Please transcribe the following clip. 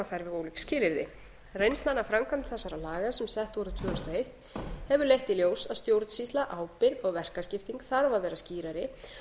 við ólík skilyrði reynslan af framkvæmd þessara laga sem sett voru tvö þúsund og eitt hefur leitt í ljós að stjórnsýsla ábyrgð og verkaskipting þarf að vera skýrari